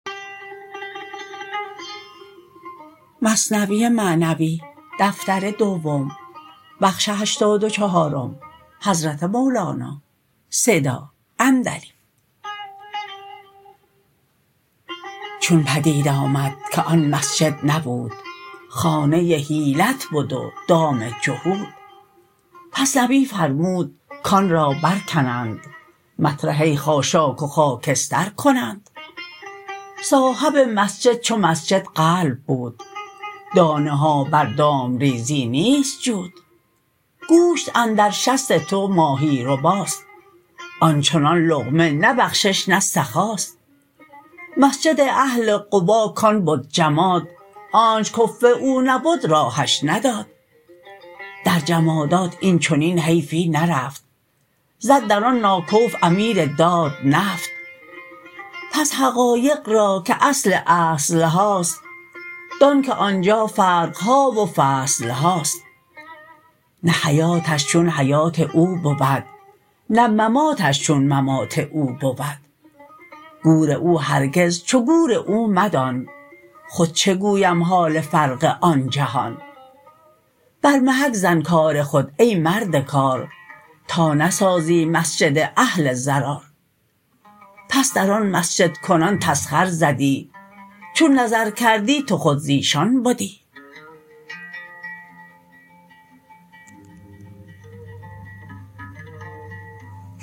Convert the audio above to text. چون پدید آمد که آن مسجد نبود خانه حیلت بد و دام جهود پس نبی فرمود کان را بر کنند مطرحه خاشاک و خاکستر کنند صاحب مسجد چو مسجد قلب بود دانه ها بر دام ریزی نیست جود گوشت اندر شست تو ماهی رباست آنچنان لقمه نه بخشش نه سخاست مسجد اهل قبا کان بد جماد آنچ کفو او نبد راهش نداد در جمادات این چنین حیفی نرفت زد در آن ناکفو امیر داد نفت پس حقایق را که اصل اصلهاست دان که آنجا فرقها و فصلهاست نه حیاتش چون حیات او بود نه مماتش چون ممات او بود گور او هرگز چو گور او مدان خود چه گویم حال فرق آن جهان بر محک زن کار خود ای مرد کار تا نسازی مسجد اهل ضرار بس در آن مسجدکنان تسخر زدی چون نظر کردی تو خود زیشان بدی